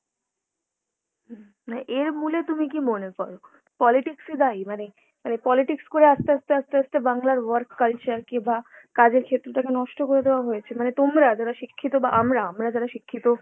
না এর মূলে তুমি কি মনে করো! politics ই দায়ী? মানে মানে politics করে আস্তে আস্তে আস্তে আস্তে বাংলার work culture কে বা কাজের ক্ষেত্রটাকে নষ্ট করে দেওয়া হয়েছে? মানে তোমরা যারা শিক্ষিত বা আমরা আমরা যারা শিক্ষিত